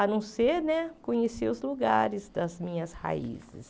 A não ser né conhecer os lugares das minhas raízes.